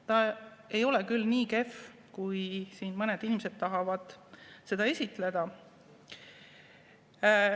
Ta ei ole küll nii kehv, kui siin mõned inimesed tahavad seda esitleda.